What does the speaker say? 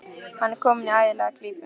Hann er kominn í ægilega klípu.